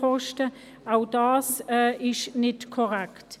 Auch das ist nicht korrekt.